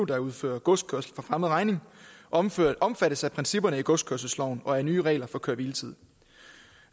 der udfører godskørsel for fremmed regning omfattes omfattes af principperne i godskørselsloven og af nye regler for køre hvile tid